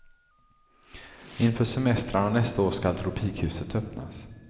Inför semestrarna nästa år skall tropikhuset öppnas.